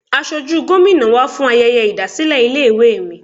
Asojú Gómìnà wá fún ayẹyẹ ìdásílẹ̀ ilé ìwé mi.